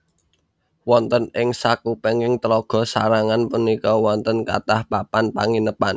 Wonten ing sakupenging Tlaga sarangan punika wonten kathah papan panginepan